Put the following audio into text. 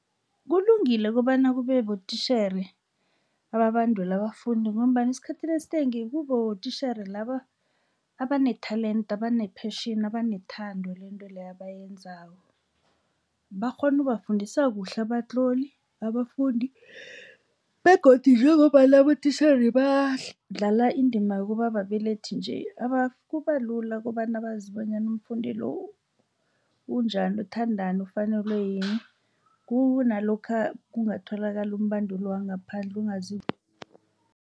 Kulungile kobana kube botitjhere ababandula abafundi ngombana esikhathini esinengi kuba botitjhere laba abatalende abane-passion, abanethando lento leyo abayenzako. Bakghona ubafundisa kuhle abatloli, abafundi begodu njengombana abotitjhere badlala indima yokubababelethi nje kubalula kobana bazi bonyana umfundi lo unjani uthandani ufanelwe yini kunalokha kungatholakala umbanduli wangaphandle ongazi